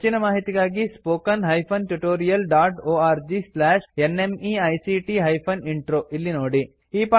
ಹೆಚ್ಚಿನ ಮಾಹಿತಿಗಾಗಿ spoken hyphen tutorial dot org slash NMEICT hyphen intro ಇಲ್ಲಿ ನೋಡಿ